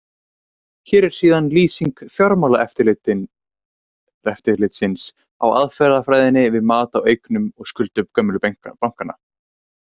Hér er síðan lýsing Fjármálaeftirlitsins á aðferðafræðinni við mat á eignum og skuldum gömlu bankanna.